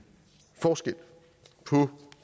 forskel på